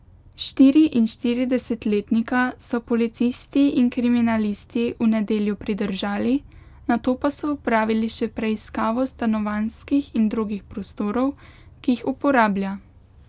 Štiriinštiridesetletnika so policisti in kriminalisti v nedeljo pridržali, nato pa so opravili še preiskavo stanovanjskih in drugih prostorov, ki jih uporablja.